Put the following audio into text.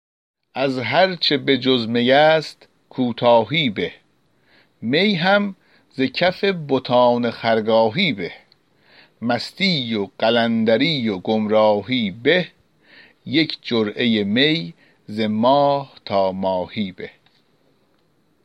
از هرچه بجز می است کوتاهی به می هم ز کف بتان خرگاهی به مستی و قلندری و گمراهی به یک جرعه می ز ماه تا ماهی به